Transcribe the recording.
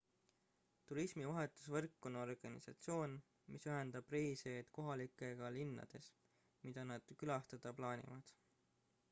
turismi vahetusvõrk on organisatsioon mis ühendab reisijaid kohalikega linnades mida nad külastada plaanivad